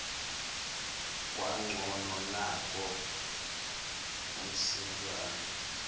kwangcono nanko umsinjwana